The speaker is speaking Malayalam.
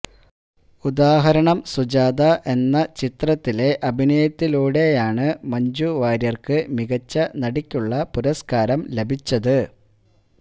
ഉദാഹരണം സുജാത എന്ന ചിത്രത്തിലെ അഭിനയത്തിലൂടെയാണ് മഞ്ജു വാര്യര്ക്ക് മികച്ച നടിക്കുള്ള പുരസ്കാരം ലഭിച്ചത്